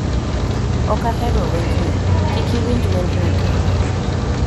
ok ahero wendni. Kik iwinj wendno kendo.